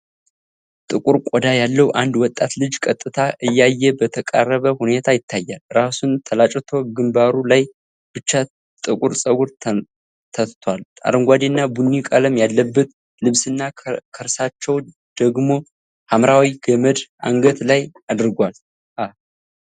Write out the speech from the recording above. ጥቁር ቆዳ ያለው አንድ ወጣት ልጅ ቀጥታ እያየ በተቃረበ ሁኔታ ይታያል። ራሱን ተላጭቶ ግንባሩ ላይ ብቻ ጥቁር ፀጉር ተትቷል። አረንጓዴና ቡኒ ቀለም ያለበት ልብስና ከርሳቸው ደግሞ ሐምራዊ ገመድ አንገት ላይ አድርጓል። አ